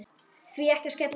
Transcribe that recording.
Því ekki að skella sér?